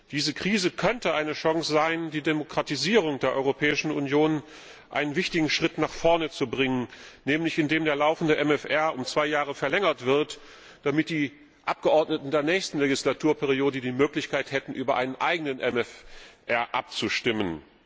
Diese Krise könnte eine Chance sein, die Demokratisierung der Europäischen Union einen wichtigen Schritt nach vorne zu bringen, nämlich indem der laufende MFR um zwei Jahre verlängert wird, damit die Abgeordneten der nächsten Legislaturperiode die Möglichkeit hätten, über einen eigenen MFR abzustimmen.